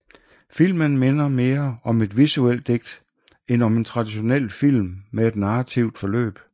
Filmen minder mere om et visuelt digt end om en traditionel film med et narrativt forløb